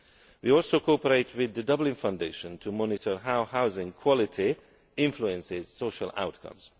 We also cooperate with the Dublin Foundation to monitor how housing quality influences social outcomes.